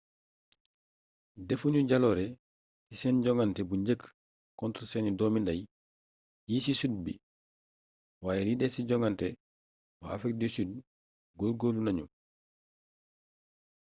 defuñu jaloore ci seen joŋante bu njëkk contre seeni doomi nday yi ci sud bi waaye li des ci joŋante waa afrique du sud góor-góorlu nañu